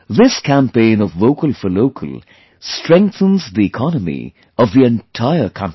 This campaign of 'Vocal For Local' strengthens the economy of the entire country